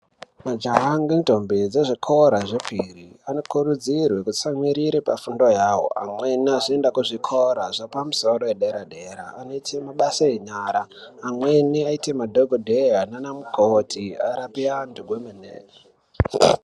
Majaha ngendombi dzezvikora zvepiri anokurudzirwe kutsamwiire pafundo yavo. Amweni azienda kuzvikora zvepamusoro edera-dera anoite mabasa enyara, amweni aite madhogodheya nana mukoti arape antu kwemene.